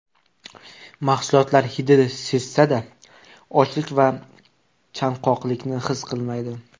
Mahsulotlar hidini sezsa-da, ochlik va chanqoqlikni his qilmaydi.